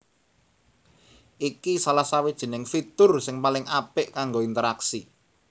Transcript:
Iki salah sawijining fitur sing paling apik kanggo interaksi